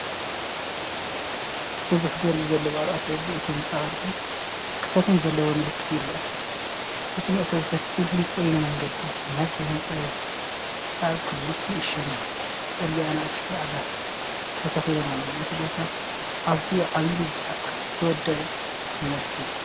ብዙሕ ደርቢ ዘለዎ ኣብ ኣፍደገ እቲ ህንጻ ቅርጺ ቅስትን ዘለዎ ምልክት ይርአ። እቲ መእተዊ ሰፊሕን ጽሩይን መንገዲ ናብቲ ህንጻ ይወስድ። ኣብ ክልቲኡ ሸነኽ ጽርግያ ንኣሽቱ ኣግራብ ተተኺሎም ኣለዉ። እቲ ቦታ ኣዝዩ ዓቢን ብስርዓት ዝተወደበን ይመስል።